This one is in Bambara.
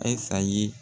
Ayisa ye